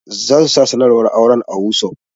Za su sa sanarwar auren a wossof.